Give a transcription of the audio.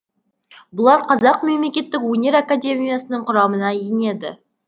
бұлар қазақ мемлекеттік өнер академиясының құрамына енеді